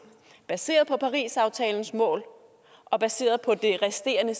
baseret på parisaftalens mål og baseret på det resterende